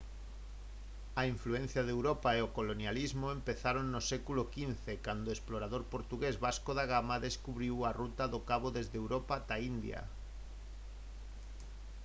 a influencia de europa e o colonialismo empezaron no século xv cando o explorador portugués vasco da gama descubriu a ruta do cabo desde europa ata a india